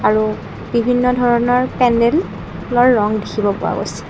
আৰু বিভিন্ন ধৰণৰ পেণ্ডেল অৰ ৰঙ দেখিব পোৱা গৈছে।